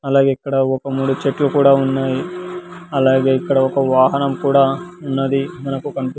అలాగే ఇక్కడ ఒక మూడు చెట్లు కూడా ఉన్నాయి అలాగే ఇక్కడ ఒక వాహనం కూడా ఉన్నది మనకు కానీప్--